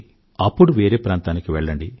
అప్పుడు వేరే ప్రాంతానికి వెళ్ళండి